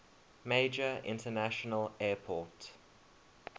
major international airport